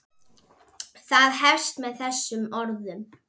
Það hefst með þessum orðum